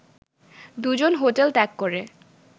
দু’জন hotel ত্যাগ করে